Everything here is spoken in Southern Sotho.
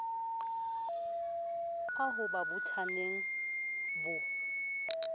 a ho ba bothateng bo